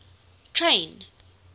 train